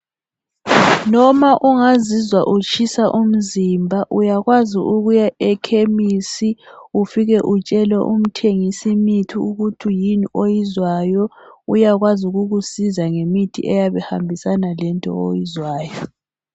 Noma ungazizwa utshisa umzimba uyakwazi ukuya ekhemisi ufike utshele umthengisi imithi ukuthi yini owizwayo. uyakwazi ukukusiza ngemithi eyabe ihambisana lento oyizwayo.